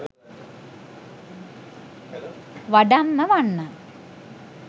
වඩම්ම වන්න.